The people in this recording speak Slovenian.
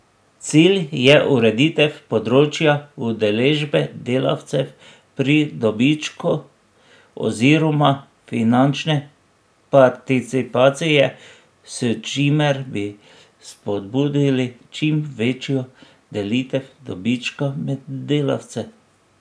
Cilj je ureditev področja udeležbe delavcev pri dobičku oziroma finančne participacije, s čimer bi spodbudili čim večjo delitev dobička med delavce.